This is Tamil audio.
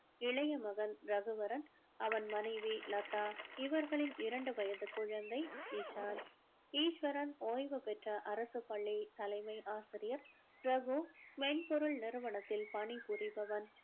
இளைய மகன் ரகுவரன் அவன் மனைவி லதா இவர்களின் இரண்டு வயது குழந்தை இஷான் ஈஸ்வரன் ஓய்வு பெற்ற அரசு பள்ளி தலைமை ஆசிரியர் ரகு மென்பொருள் நிறுவனத்தில் பணிபுரிபவன்